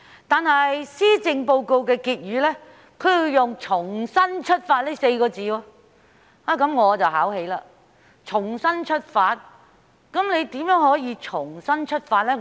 不過，施政報告的結語則用了"重新出發"這4個字，這確實把我考起，是怎樣的重新出發呢？